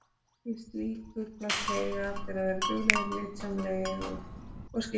Í slíku plássi eiga allir að vera duglegir, nytsamlegur og skikkanlegir.